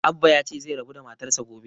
Abbah ya ce zai rabu da matar sa gobe